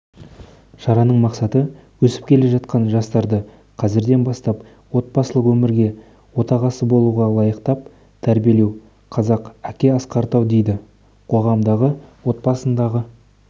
шараның мақсаты өсіп келе жатқан жастарды қазірден бастап отбасылық өмірге отағасы болуға лайықтап тәрбиелеу қазақ әке асқар тау дейді қоғамдағы отбасындағы